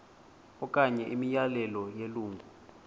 okanye imiyalelo yelungu